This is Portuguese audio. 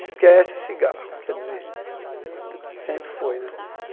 Esquece o cigarro, quer dizer, sempre foi, né?